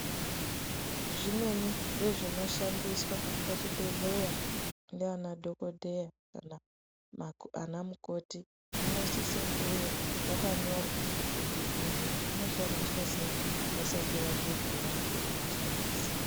Zvimweni zvezvinoshandiswa pazvibhedhleya ngaana dhokodheya kana anamukoti zvinosise kuwe zvakanyorwa kuti izvi zvinoshandiswa seyi vasati vazvivhura kuti vashandise.